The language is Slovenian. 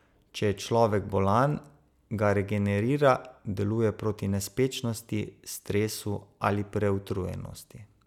Če je človek bolan, ga regenerira, deluje proti nespečnosti, stresu ali preutrujenosti.